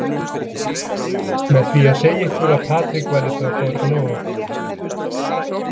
Með því að segja ykkur að Patrik væri frá Brno.